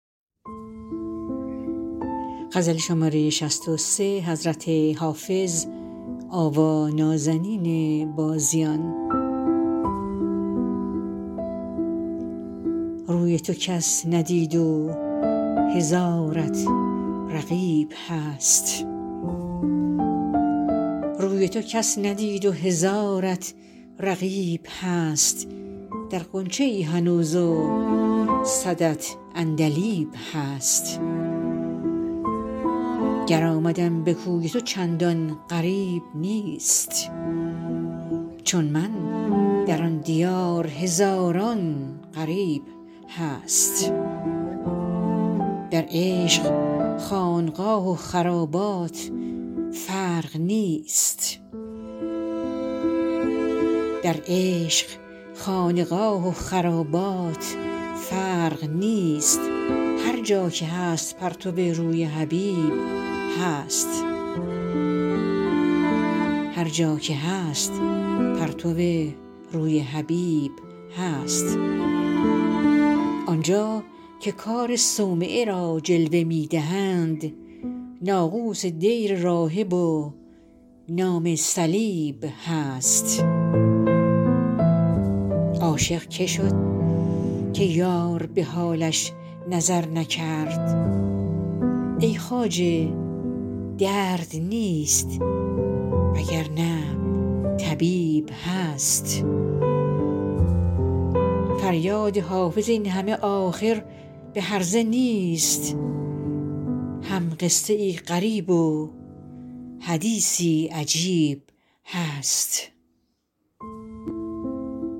روی تو کس ندید و هزارت رقیب هست در غنچه ای هنوز و صدت عندلیب هست گر آمدم به کوی تو چندان غریب نیست چون من در آن دیار هزاران غریب هست در عشق خانقاه و خرابات فرق نیست هر جا که هست پرتو روی حبیب هست آن جا که کار صومعه را جلوه می دهند ناقوس دیر راهب و نام صلیب هست عاشق که شد که یار به حالش نظر نکرد ای خواجه درد نیست وگرنه طبیب هست فریاد حافظ این همه آخر به هرزه نیست هم قصه ای غریب و حدیثی عجیب هست